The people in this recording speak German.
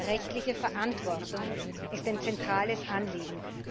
Rechtliche Verantwortung ist ein zentrales Anliegen.